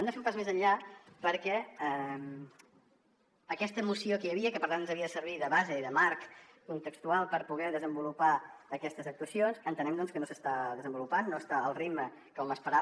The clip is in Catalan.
hem de fer un pas més enllà perquè aquesta moció que hi havia i que per tant ens havia de servir de base i de marc contextual per poder desenvolupar aquestes actuacions entenem que no s’està desenvolupant no està al ritme que hom esperava